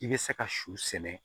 I bɛ se ka su sɛnɛ